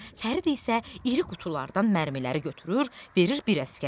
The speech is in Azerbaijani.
Fərid isə iri qutulardan mərmiləri götürür, verir bir əsgərə.